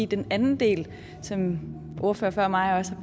den anden del som ordførere før mig også har